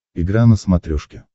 игра на смотрешке